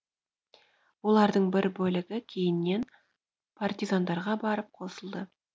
олардың бір бөлігі кейіннен партизандарға барып қосылды